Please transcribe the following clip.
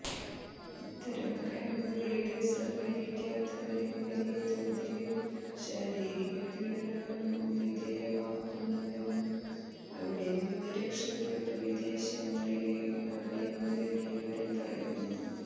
ഇത്തരം ക്യാമ്പുകളില് സഹകരിക്കാത്തവരെ വലിയ തോതില് ശാരീരികപീഡനങ്ങള്ക്കും വിധേയമാക്കുന്നുന്നെും അവിടെനിന്ന് രക്ഷപ്പെട്ട് വിദേശങ്ങളില് അഭയം തേടിയവര് പറയുന്നു